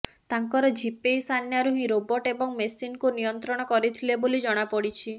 ଡ଼ାଙ୍କର ଝିପେଇ ସାନ୍ୟାରୁ ହିଁ ରୋବୋଟ୍ ଏବଂ ମେସିନ୍କୁ ନିୟନ୍ତ୍ରଣ କରିଥିଲେ ବୋଲି ଜଣାପଡ଼ିଛି